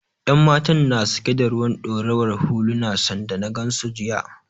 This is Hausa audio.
Yan matan na sake da ruwan ɗorawar huluna sanda na gansu jiya